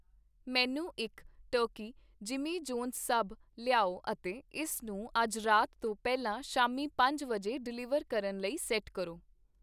ਮੈਨੂੰ ਇੱਕ turkey Jimmy Johns sub ਲਿਆਓ ਅਤੇ ਇਸ ਨੂੰ ਅੱਜ ਰਾਤ ਤੋਂ ਪਹਿਲਾ ਸ਼ਾਮੀ ਪੰਜ ਵਜੇ ਡਿਲੀਵਰ ਕਰਨ ਲਈ ਸੈੱਟ ਕਰੋ।